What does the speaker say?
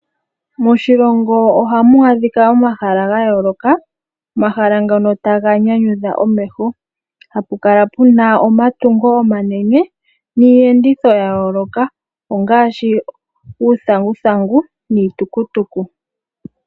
Moshilongo ohamu adhika omahala gayoloka. Omahala ngono taga nyanyutha omeho. Hapu kala pu na omatungo omanene niiyenditho ya yoloka ngaashi uuthanguthangu niitukutuku.